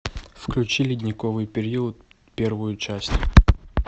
включи ледниковый период первую часть